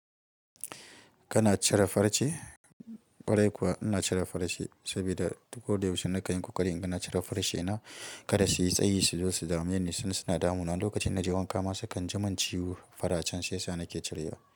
Kana cire farce? Kwarai kuwa ina cire farce saboda duk ko da yaushe nakan kokari inga na cire farce na. Kada su yi tsayi, su zo su dame ni ni su suna damuna. Lokacin na je wanka ma sukan ji min ciwo faracen shi yasa nake cirewa.